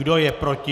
Kdo je proti?